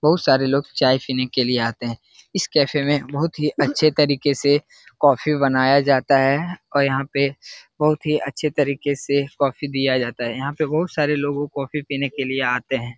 बहुत सारे लोग चाय पीने के लिए आते है इस कैफ़े मे बहुत ही अच्छे तरीके से कॉफ़ी बनाया जाता है और यहाँ पे बहुत ही अच्छे तरीके से कॉफ़ी दिया जाता है यहाँ पे बहुत सारे लोग कॉफ़ी पीने लिए आते है ।